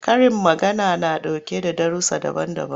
Karin magana na ɗauke da darussa daban-daban.